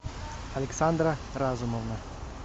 александра разумовна